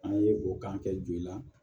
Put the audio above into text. An ye o kan kɛ joli la